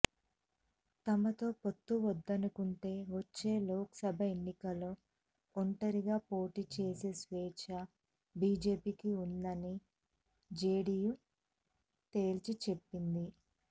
తమతో పొత్తు వద్దనుకుంటే వచ్చే లోక్సభ ఎన్నికల్లో ఒంటరిగా పోటీ చేసే స్వేచ్ఛ బీజేపీకి ఉందని జేడీయూ తేల్చిచెప్పింది